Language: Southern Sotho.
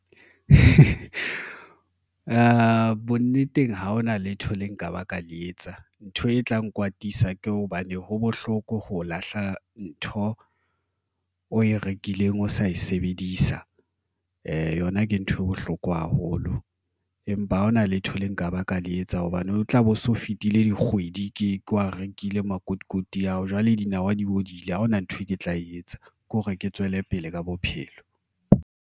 Bonneteng ha hona letho le nka ba ka le etsa ntho e tla nkwatisa ke hobane ho bohloko ho lahla ntho o e rekileng ho sa e sebedisa yona ke ntho e bohloko haholo empa ha hona letho Le nka ba ka le etsa hobane o tla be o so fetile. Dikgwedi ke wa rekile makotikoti ao, jwale dinawa di bodile ha hona nthwe ke tla e etsa ke hore ke tswele pele ka bophelo.